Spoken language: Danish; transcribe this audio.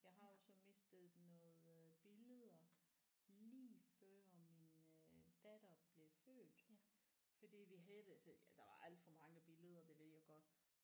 Jeg har også mistet noget øh billeder lige før min øh datter blev født fordi vi havde det altså ja der var alt for mange billeder det ved jeg godt